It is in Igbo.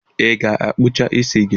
Ị ga-akwọcha isi gị?